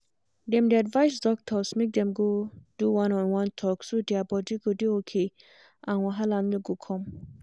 dem dey advise doctors make dem go do one on one talk so their body go dey okay and wahala no go come